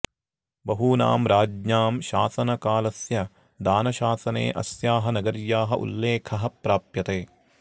बहूनां राज्ञां शासनकालस्य दानशासने अस्याः नगर्याः उल्लेखः प्राप्यते